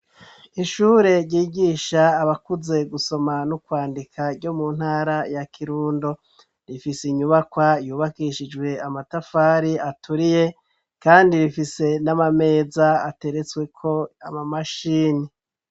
Ishure ryigisha abakuze gusoma nu kwandika ryo mu ntara ya kirundo ,rifise inyubakwa yubakishijwe amatafari aturiye kandi rifise n'amameza ateretsweko amamashini.